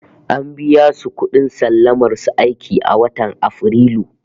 An biya su kudin sallamar su aiki a watan Afrilu